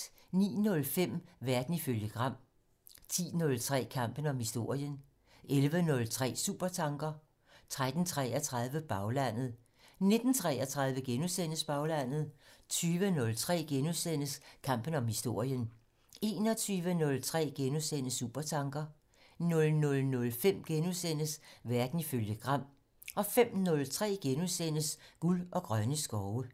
09:05: Verden ifølge Gram 10:03: Kampen om historien 11:03: Supertanker 13:33: Baglandet 19:33: Baglandet * 20:03: Kampen om historien * 21:03: Supertanker * 00:05: Verden ifølge Gram * 05:03: Guld og grønne skove *